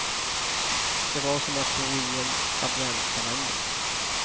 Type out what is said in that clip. Det var som att bo i en adventskalender.